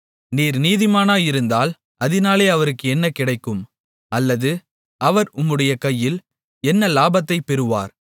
நீர் நீதிமானாயிருந்தால் அதினாலே அவருக்கு என்ன கிடைக்கும் அல்லது அவர் உம்முடைய கையில் என்ன லாபத்தைப் பெறுவார்